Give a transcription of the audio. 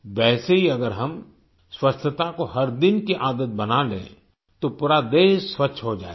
वैसे ही अगर हम स्वच्छता को हर दिन की आदत बना लें तो पूरा देश स्वच्छ हो जाएगा